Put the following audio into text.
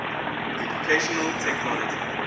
educational technology